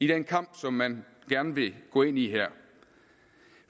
den kamp som man gerne vil gå ind i her